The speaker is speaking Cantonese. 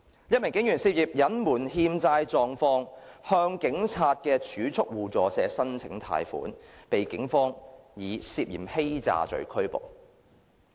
一名警員涉嫌隱瞞欠債狀況，向警察儲蓄互助社申請貸款，被警方以涉嫌欺詐罪拘捕。